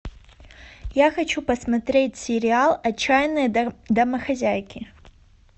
я хочу посмотреть сериал отчаянные домохозяйки